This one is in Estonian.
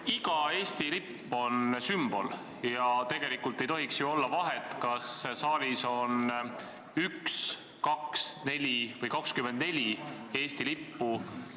Iga Eesti lipp on sümbol ja tegelikult ei tohiks ju olla vahet, kas saalis on üks, kaks, neli või 24 Eesti lippu.